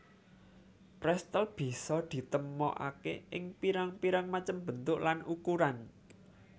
Pretzel bisa ditemokaké ing pirang pirang macem bentuk lan ukuran